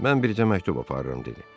Mən bircə məktub aparıram dedi.